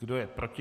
Kdo je proti?